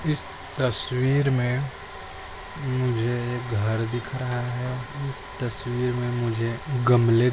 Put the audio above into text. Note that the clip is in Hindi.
इस तस्वीर मे मुझे एक घर दिख रहा है इस तस्वीर मे मुझे गमले --